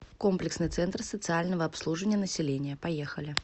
комплексный центр социального обслуживания населения поехали